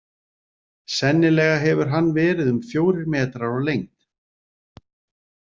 Sennilega hefur hann verið um fjórir metrar á lengd.